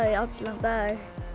í allan dag